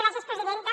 gràcies presidenta